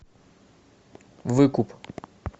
выкуп